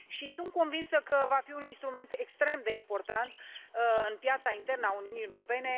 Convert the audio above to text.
Sunt convinsă că va fi un instrument extrem de important în piața internă a Uniunii Europene.